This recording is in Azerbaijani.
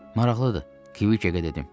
Maraqlıdır, Kviçekə dedim.